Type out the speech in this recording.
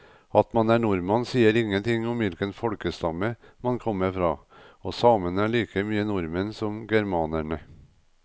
At man er nordmann sier ingenting om hvilken folkestamme man kommer fra, og samene er like mye nordmenn som germanerne.